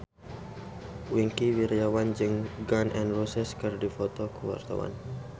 Wingky Wiryawan jeung Gun N Roses keur dipoto ku wartawan